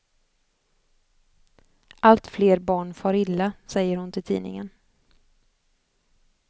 Allt fler barn far illa, säger hon till tidningen.